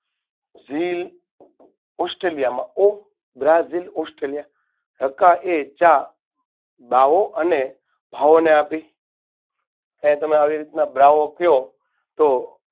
ઝીલ australia માં ઓ brazil, australia રકાએ ચા બાઓ અને ભાવોને આપી ને તમે આ રીતે બ્રાઓ ક્યો તો